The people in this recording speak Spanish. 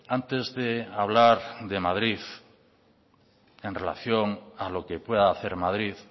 antes de hablar de madrid en relación a lo que pueda hacer madrid